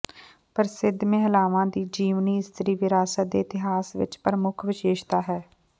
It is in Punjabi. ਪ੍ਰਸਿੱਧ ਮਹਿਲਾਵਾਂ ਦੀ ਜੀਵਨੀ ਇਸਤਰੀ ਵਿਰਾਸਤ ਦੇ ਇਤਿਹਾਸ ਵਿਚ ਪ੍ਰਮੁੱਖ ਵਿਸ਼ੇਸ਼ਤਾ ਹੈ